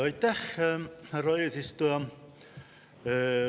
Aitäh, härra eesistuja!